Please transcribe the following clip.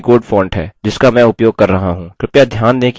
lohit kannada unicode font है जिसका मैं उपयोग कर रहा हूँ